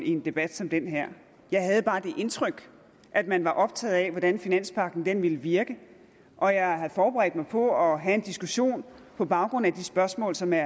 i en debat som den her jeg havde bare det indtryk at man er optaget af hvordan finanspagten vil virke og jeg havde forberedt mig på at have en diskussion på baggrund af de spørgsmål som er